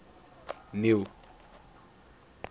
neil